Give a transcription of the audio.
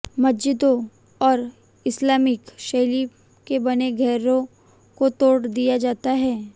मस्जिदों और इस्लामिक शैली के बने घरों को तोड़ दिया जाता है